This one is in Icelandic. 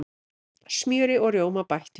Smjöri og rjóma bætt við.